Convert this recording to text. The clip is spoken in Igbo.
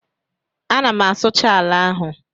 Ana m asụcha ala ahụ